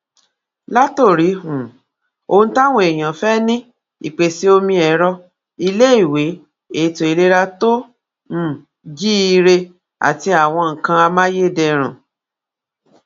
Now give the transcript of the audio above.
um ohun táwọn èèyàn fẹ́ ní ìpèsè omi ẹ̀rọ, iléèwé, ètò ìlera tó um jíire, àti àwọn nǹkan amáyédẹrùn